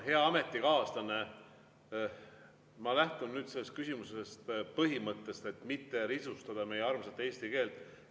Hea ametikaaslane, ma lähtun nüüd selles küsimuses põhimõttest, et ei peaks risustama meie armsat eesti keelt.